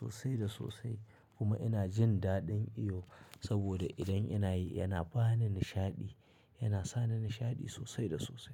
sosai da sosai kuma ina jin daɗin iyo saboda idan ina yi yana ba ni nishaɗi, yana sa ni nishaɗi sosai da sosai.